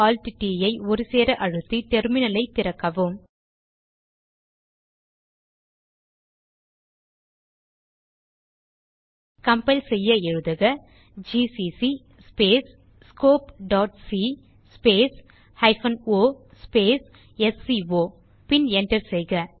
Ctrl Alt மற்றும் T ஐ ஒருசேர அழுத்தி டெர்மினல் ஐ திறக்கவும் கம்பைல் செய்ய எழுதுக ஜிசிசி scopeசி o ஸ்கோ பின் enter செய்க